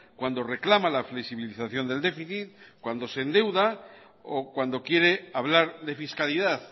cuando reclama la flexibilización del déficit cuando se endeuda o cuando quiere hablar de fiscalidad